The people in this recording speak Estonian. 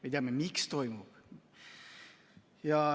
Me teame, miks toimub.